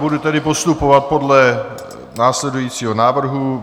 Budu tedy postupovat podle následujícího návrhu.